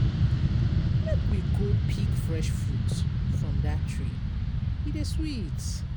Make we go pick fresh fruit from dat tree, e dey sweet.